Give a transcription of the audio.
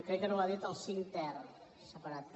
crec que no ho ha dit el cinc ter separat també